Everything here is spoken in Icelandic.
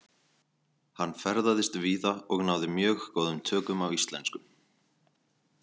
Hann ferðaðist víða og náði mjög góðum tökum á íslensku.